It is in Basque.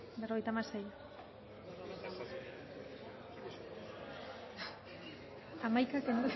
bozketaren emaitza